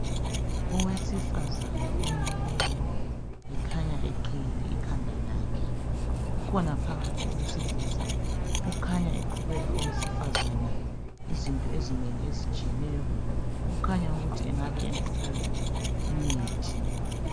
Owesifazane omileyo ekhanya eqiyile ikhanda lakhe kukhona phakathi owesilisa kukhanya equbela owesifazana izinto ezinengi ezitshiyeneyo kukhanya ukuthi engabe emqubela imithi.